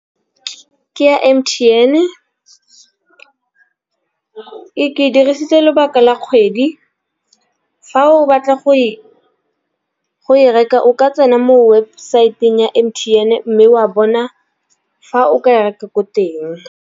Ke ya M_T_N ke dirisitse lobaka la kgwedi. Fa o batla go e reka o ka tsena mo webosaeteng ya M_T_N, mme wa bona fa o ka e reka ko teng.